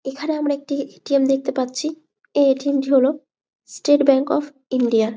এইখানে আমরা একটি এ. টি. এম দেখতে পাচ্ছি। এই এ টি এমটি হলো স্টেট ব্যাঙ্ক অফ ইন্ডিয়ার ।